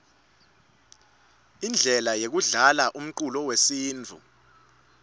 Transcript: indlele yekudlalaumculo wesintfu